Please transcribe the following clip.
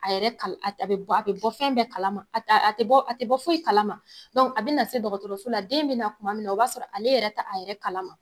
A yɛrɛ kal a t a be bɔ a be bɔ fɛn bɛɛ kalama. A t a a te bɔ a te bɔ foyi kalama. a bɛna se dɔgɔtɔrɔso la den in bɛna tuma min na o b'a sɔrɔ ale yɛrɛ ta a yɛrɛ kalama.